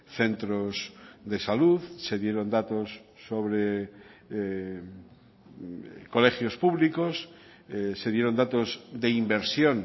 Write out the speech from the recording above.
centros de salud se dieron datos sobre colegios públicos se dieron datos de inversión